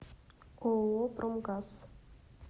ооо промгаз